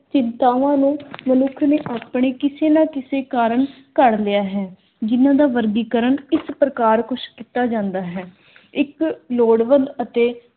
ਚਿੰਤਾਵਾਂ ਨੂੰ ਮਨੁੱਖ ਨੇ ਆਪਣੇ ਕਿਸੇ ਨਾ ਕਿਸੇ ਕਾਰਣ ਘੜ ਲਿਆ ਹੈ, ਜਿਨ੍ਹਾਂ ਦਾ ਵਰਗੀਕਰਨ ਇਸ ਪ੍ਰਕਾਰ ਕੁਛ ਕੀਤਾ ਜਾਂਦਾ ਹੈ। ਇੱਕ ਲੋੜਬੰਦ ਅਤੇ